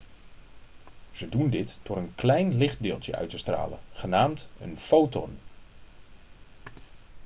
ze doen dit door een klein lichtdeeltje uit te stralen genaamd een foton'